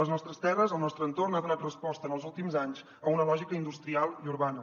les nostres terres el nostre entorn ha donat resposta en els últims anys a una lògica industrial i urbana